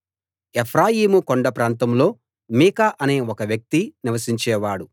ఎఫ్రాయిము కొండ ప్రాంతంలో మీకా అనే ఒక వ్యక్తి నివసించేవాడు